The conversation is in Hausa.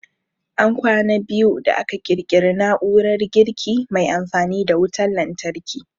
An kwana biyu da aka ƙirƙiri na'urar girki mai amfani da wutan lantarki